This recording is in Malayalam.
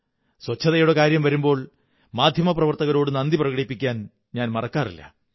ശുചിത്വത്തിന്റെ കാര്യം വരുമ്പോൾ മാധ്യമപ്രവര്ത്തനകരോടു നന്ദി പ്രകടിപ്പിക്കാൻ ഞാൻ മറക്കാറില്ല